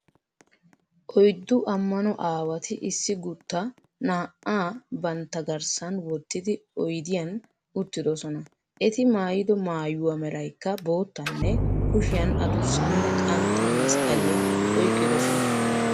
Oyddu Ammano aawati issi guutta na"aa bantta garssan wottidi oydiyan uttidosona. eti maayido maayuwaa meraykka boottaanne, kushiyan adussanne qantta masqqaliya oyqqidosona.